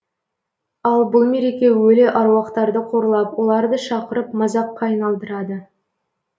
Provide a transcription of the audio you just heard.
ал бұл мереке өлі аруақтарды қорлап оларды шақырып мазаққа айналдырады